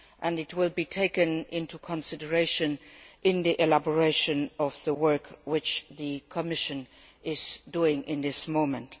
It will be taken into consideration in the elaboration of the work that the Commission is doing at the moment.